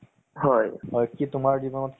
তʼ thank you তোমাৰ সময় দিয়াৰ কাৰণে